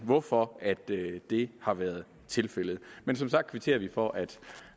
hvorfor det har været tilfældet men som sagt kvitterer vi for at